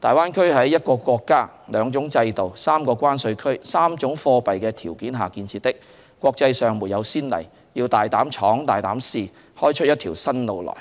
大灣區是在一個國家、兩種制度、三個關稅區、三種貨幣的條件下建設，國際上沒有先例，要大膽闖、大膽試，開出一條新路來，